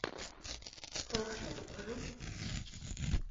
хорошо покажи